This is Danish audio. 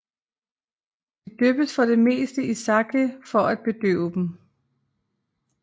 De dyppes for det meste i sake for at bedøve dem